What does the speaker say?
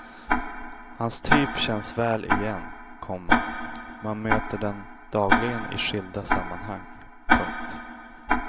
Hans typ känns väl igen, komma man möter den dagligen i skilda sammanhang. punkt